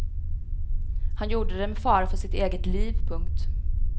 Han gjorde det med fara för sitt eget liv. punkt